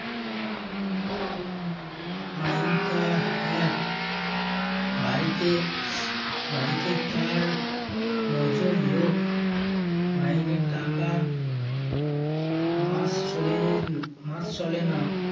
mind টা হ্যাঁ বাড়িতে বাড়িতে তার নজর লোক মাইনে টাকা মাস চলে মাস চলে না